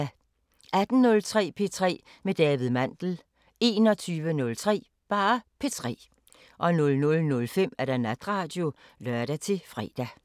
18:03: P3 med David Mandel 21:03: P3 00:05: Natradio (lør-fre)